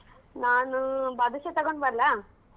ನಾನು ಬಾದುಷಾ ತಗೊಂಡ್ ಬರ್ಲಾ?